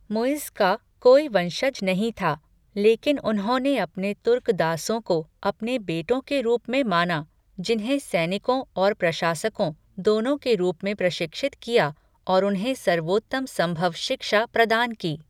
मुइज़्ज़ का कोई वंशज नहीं था, लेकिन उन्होंने अपने तुर्क दासों को अपने बेटों के रूप में माना, जिन्हें सैनिकों और प्रशासकों दोनों के रूप में प्रशिक्षित किया और उन्हें सर्वोत्तम संभव शिक्षा प्रदान की।